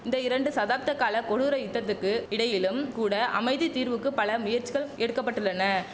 இந்த இரண்டு சதாப்த கால கொடூர யுத்தத்துக்கு இடையிலும் கூட அமைதி தீர்வுக்குப் பல முயற்சிகள் எடுக்க பட்டுள்ளன